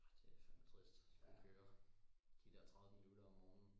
Ah det fandme trist og skulle køre de der tredive minutter om morgenen